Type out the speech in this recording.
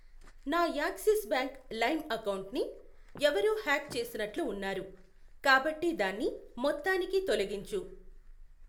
నా Axis bank lime అకౌంటుని ఎవరో హ్యాక్ చేసినట్లు ఉన్నారు కాబట్టి దాన్ని మొత్తానికి తొలగించు.